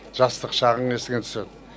жастық шағың есіңе түседі